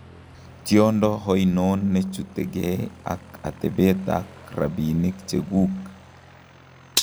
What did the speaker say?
Tiondo oinon nechutegee ak atebet ak rabiinik chekuuk